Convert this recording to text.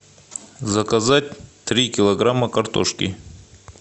заказать три килограмма картошки